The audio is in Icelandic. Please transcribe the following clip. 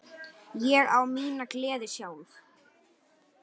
Ég á mína gleði sjálf.